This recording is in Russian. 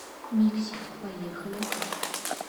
миксит поехали